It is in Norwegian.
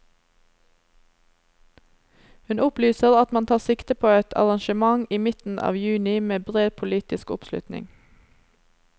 Hun opplyser at man tar sikte på et arrangement i midten av juni med bred politisk oppslutning.